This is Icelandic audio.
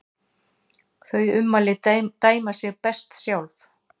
Þau ummæli dæma sig best sjálf.